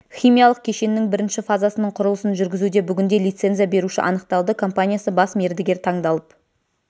химиялық кешеннің бірнші фазасының құрылысын жүргізуде бүгінде лицензия беруші анықталды компаниясы бас мердігер таңдалып